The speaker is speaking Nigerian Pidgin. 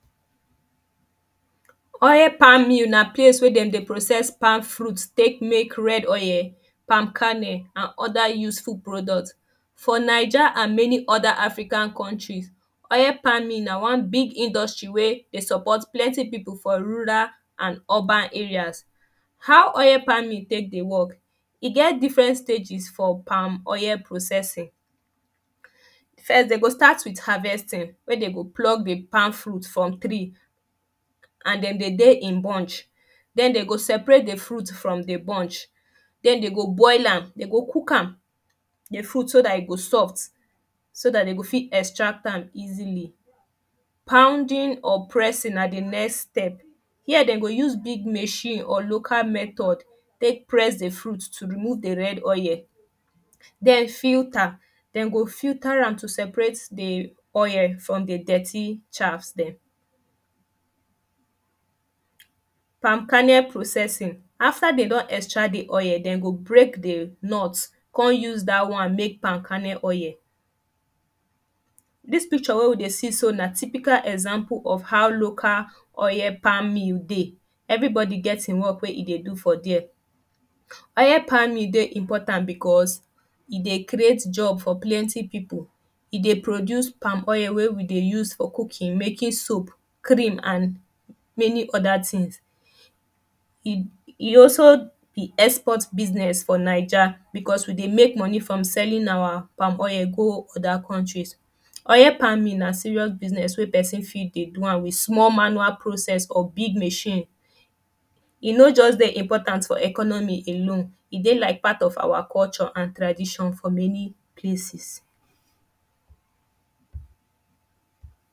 Oil palm mill na place wey dem dey process palm fruit take make red oil, palm kernel and other useful product. For naija and many other african countries, oil palming na one big industry wey they support plenty people for rural and urban areas. How oil palm mill take dey work? E get different stages for palm oil processing. First, they go start with harvesting, wey dem go pluck the palm fruit from tree and dem dey dey in bunch. Den, they go separate the fruit from the bunch. Den they go boil am, they go cook am, the fruit so dat e go soft. So dat they go fit extract am easily. Pounding or pressing na the next step. Here de go use big machine or local methed take press the fruit to remove the red oil. Den filter. Dem go filter am to separate the oil from the dirty shaft dem. Palm kernel processing. After dem don extract the oil, dem go break the nut con use dat one make palm kernel oil. Dis picture wey we dey see so na typical example of how local oil palm mill dey. Everybode get im work wey e dey do for dere. Oil palm mill dey important because, e dey ceate job for plenty people. E dey produce palm oil wey we dey use for cooking, making soap, cream and many other things. E e dey also be export business for naija because we dey make money from selling our palm oil go other country. Oil palm mill na serious business wey person fit dey do am with small manual process or big machine. E no just dey important for economy alone. E dey like part of our culture and tradition for many places.